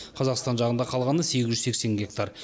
қазақстан жағында қалғаны сегіз жүз сексен гектар